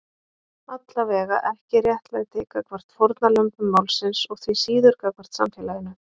Allavega ekki réttlæti gagnvart fórnarlömbum málsins og því síður gagnvart samfélaginu.